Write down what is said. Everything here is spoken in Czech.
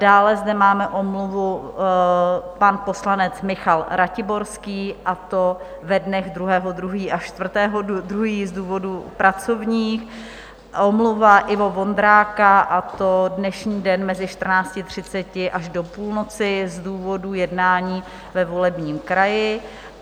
Dále zde máme omluvu, pan poslanec Michal Ratiborský, a to ve dnech 2. 2. až 4. 2. z důvodů pracovních, omluva Ivo Vondráka, a to dnešní den mezi 14.30 až do půlnoci z důvodů jednání ve volebním kraji.